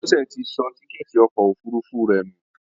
Bọ́lá ti sọ tíkẹ́ẹ́tì ọkọ̀ òfurufú rẹ̀ nù